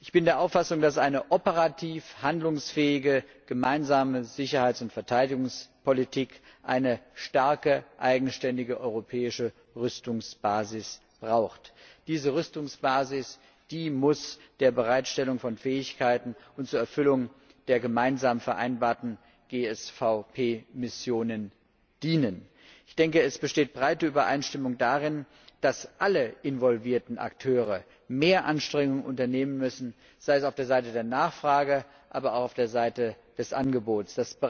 Ich bin der Auffassung, dass eine operativ handlungsfähige Gemeinsame Sicherheits und Verteidigungspolitik eine starke, eigenständige europäische Rüstungsbasis braucht. Diese Rüstungsbasis muss der Bereitstellung von Fähigkeiten und der Erfüllung der gemeinsam vereinbarten GSVP Missionen dienen. Es besteht breite Übereinstimmung darin, dass alle involvierten Akteure mehr Anstrengungen unternehmen müssen sei es auf der Seite der Nachfrage, aber auch auf der Seite des Angebots.